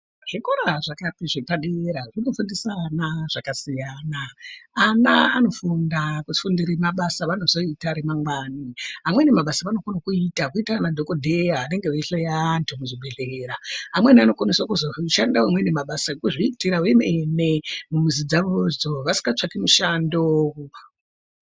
Zvikora zvepadera zvinofundisa ana zvakasiyana , ana anofunda kufundire mabasa avanozoita remangwani amweni mabasa avanokone kuita kuita ana dhokodheya vanenge veihloya antu muzvibhodhlera amweni anokoneswe kuzoshanda mabasa ekuzviita vemene mumhuzi dzavodzo vasingatsvaki mishando.